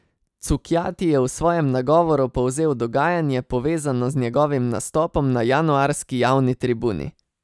Cukjati je v svojem nagovoru povzel dogajanje, povezano z njegovim nastopom na januarski javni tribuni.